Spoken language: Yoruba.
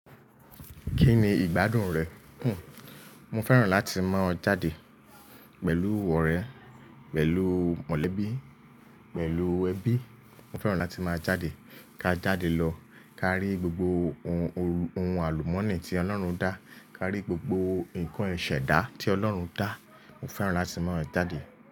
Kí ni ìgbádùn rẹ̀? Hmm, mo fẹ́ràn láti máa jáde pẹ̀lú ọ̀rẹ́, pẹ̀lú mọ̀lẹ́bí, pẹ̀lú ẹbí. Mo fẹ́ràn láti máa jáde. Ká jáde lọ, ká rí gbogbo ohun ohun àlùmọ́nì tí Ọlọ́run dá, ká rí gbogbo nǹkan ìṣẹ̀dá tí Ọlọ́run dá. Mo fẹ́ràn láti máa jáde.